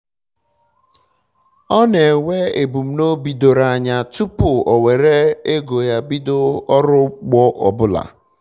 ọ na-enwe ebumnobi doro anya tụpụ o were ego ya bido ọrụ ugbo ọbụla